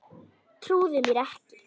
Trúði mér ekki.